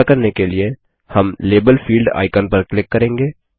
यह करने के लिए हम लाबेल फील्ड आइकन पर क्लिक करेंगे